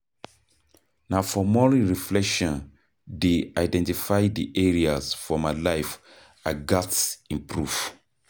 Na for morning reflection dey identify di areas for my life I gats improve.